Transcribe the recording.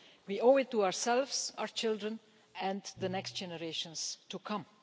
We owe it to ourselves, our children and the generations to come.